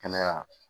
Kɛnɛya